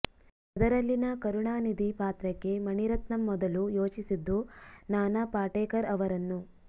ಅದರಲ್ಲಿನ ಕರುಣಾನಿಧಿ ಪಾತ್ರಕ್ಕೆ ಮಣಿರತ್ನಂ ಮೊದಲು ಯೋಚಿಸಿದ್ದು ನಾನಾ ಪಾಟೇಕರ್ ಅವರನ್ನು